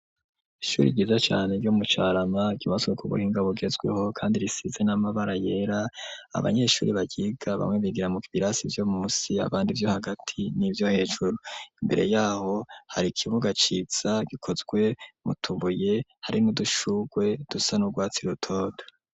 Ishuri ryiza cane ryo mu Carama, ryubatswe ku buhinga bugezweho, kandi risize n'amabara yera, abanyeshuri baryiga bamwe bigira mu birasi vyo munsi, abandi vyo hagati n'ivyo hejuru; imbere y'aho hari ikibuga ciza gikozwe mu tubuye, hari n'udushurwe dusa n'urwatsi rutoto.